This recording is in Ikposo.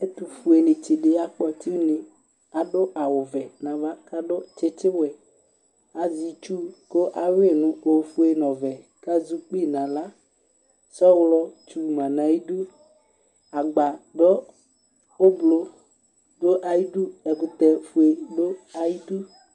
Ɛtʋfuenɩtsɩ dɩ yakpɔtsɩ une, adʋ awʋ vɛ nʋ ava, kʋ adʋ tsɩtsɩ wɛ, azɛ itsu kʋ ayʋɩ nʋ ofue nʋ ɔvɛ, kʋ azɛ ukpi nʋ aɣla, sɔlɔtsu ma nʋ ayʋ idu, agbadɔ ʋblʋ dʋ ayʋ idu, ɛkʋtɛ fue dʋ ayʋ idu